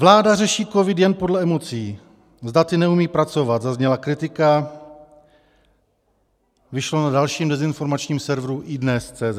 Vláda řeší covid jen podle emocí, s daty neumí pracovat, zazněla kritika, vyšlo na dalším dezinformačním severu iDnes.cz.